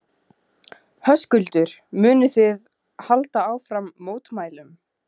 Höskuldur: Munið þið halda áfram mótmælum?